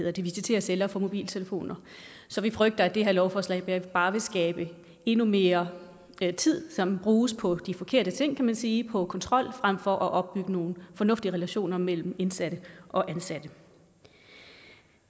at visitere celler for mobiltelefoner så vi frygter at det her lovforslag bare vil betyde endnu mere tid som bruges på de forkerte ting kan man sige på kontrol frem for at opbygge nogle fornuftige relationer mellem indsatte og ansatte